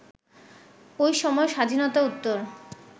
ওই সময় স্বাধীনতা-উত্তর